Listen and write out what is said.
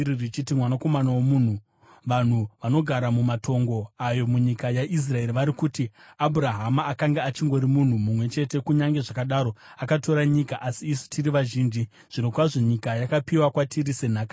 “Mwanakomana womunhu, vanhu vanogara mumatongo ayo munyika yaIsraeri vari kuti, ‘Abhurahama akanga ari munhu mumwe chete, asi akatora nyika. Asi isu tiri vazhinji; zvirokwazvo nyika yakapiwa kwatiri senhaka yedu.’